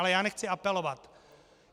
Ale já nechci apelovat.